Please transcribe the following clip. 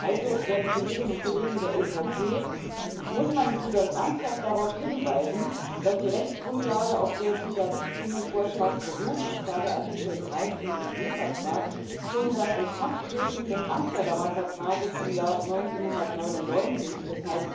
Also, werte Kolleginnen und Kollegen von der EVP, muss man Sie denn ernsthaft darauf hinweisen, dass die Rechtsgrundlage, auf der dieser Richtlinienvorschlag beruht und zwar Artikel 13 EG Vertrag schon seit Inkrafttreten des Amsterdamer Vertrages im Jahr 1999, d.